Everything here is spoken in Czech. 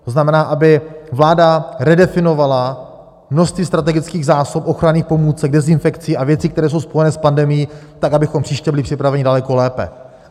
To znamená, aby vláda redefinovala množství strategických zásob ochranných pomůcek, dezinfekcí a věcí, které jsou spojené s pandemií, tak, abychom příště byli připraveni daleko lépe.